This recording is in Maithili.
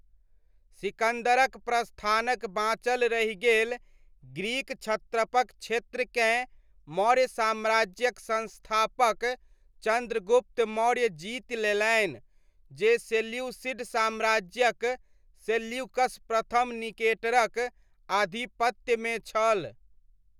सिकन्दरक प्रस्थानक बाँचल रहि गेल ग्रीक क्षत्रपक क्षेत्रकेँ मौर्य साम्राज्यक संस्थापक चन्द्रगुप्त मौर्य जीति लेलनि जे सेल्यूसिड साम्राज्यक सेल्यूकस प्रथम निकेटरक आधिपत्यमे छल।